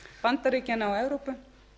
bandaríkjanna og evrópu